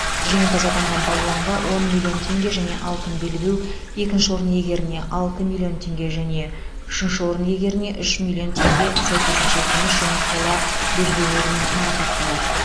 жеңімпаз атанған балуанға он миллион теңге және алтын белбеу екінші орын иегеріне алты миллион теңге және үшінші орын иегеріне үш миллион теңге сәйкесінше күміс және қола белбеулермен марапатталады